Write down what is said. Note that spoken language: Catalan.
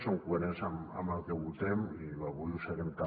som coherents amb el que votem i avui ho serem també